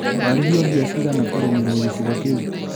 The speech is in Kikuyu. Warĩhio mbia cigana kũrĩmĩrwo gĩcigo kĩu?